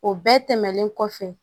O bɛɛ tɛmɛnen kɔfɛ